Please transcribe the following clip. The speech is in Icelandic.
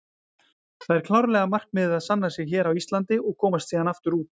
Það er klárlega markmiðið að sanna sig hér á Íslandi og komast síðan aftur út.